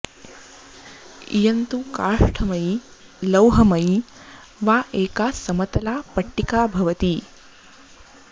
इयं तु काष्ठमयी लौहमयी वा एका समतला पट्टिका भवति